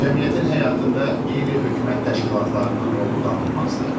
Cəmiyyətin həyatında qeyri-hökumət təşkilatlarının rolu danılmazdır.